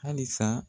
Halisa